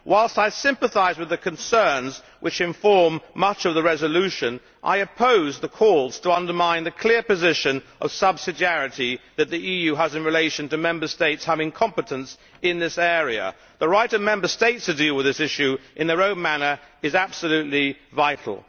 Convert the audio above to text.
Whilst I sympathise with the concerns which inform much of the resolution, I oppose the calls to undermine the clear position of subsidiarity that the EU has in relation to the Member States having competence in this area. The right of the Member States to deal with this issue in their own manner is absolutely vital.